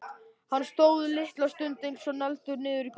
Hann stóð litla stund eins og negldur niður í gólfið.